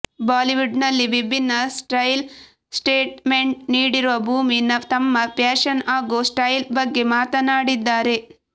Bollywood ನಲ್ಲಿ ವಿಭಿನ್ನ style statement ನೀಡಿರುವ ಭೂಮಿ ತಮ್ಮ ಫ್ಯಾಷನ್ ಹಾಗೂ ಸ್ಟೈಲ್ ಬಗ್ಗೆ ಮಾತನಾಡಿದ್ದಾರೆ